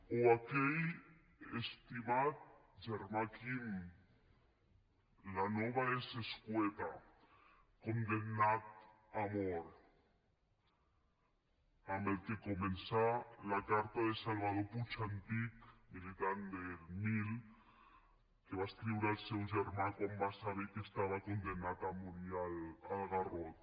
o aquell estimat germà quim la nova és escueta condemnat a mort amb què comença la carta de salvador puig antich militant del mil que va escriure al seu germà quan va saber que estava condemnat a morir al garrot